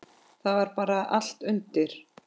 Það var bara allt undir.